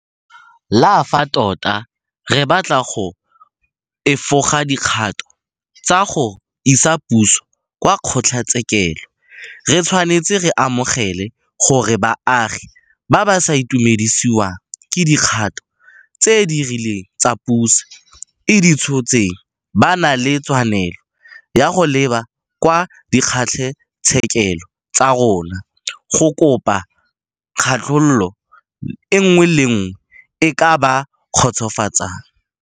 Le fa tota re batla go efoga dikgato tsa go isa puso kwa kgotlatshekelo, re tshwanetse re amogele gore baagi ba ba sa itumedisiwang ke dikgato tse di rileng tse puso e di tshotseng ba na le tshwanelo ya go leba kwa dikgotlatshekelo tsa rona go kopa katlholo nngwe le nngwe e e ka ba kgotsofatsang.